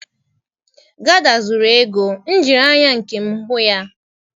Gada zuru ego m jiri anya nkem hu ya.